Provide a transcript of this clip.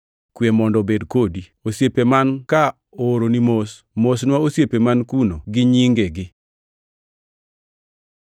Kwe mondo obed kodi. Osiepe man ka ooroni mos. Mosnwa osiepe man kuno gi nyingegi.